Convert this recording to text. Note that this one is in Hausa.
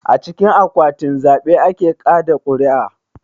A cikin akwatin zaɓe ake kaɗa ƙuri'a